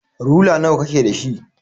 Rula nawa kake da shi?